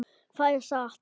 Það er satt!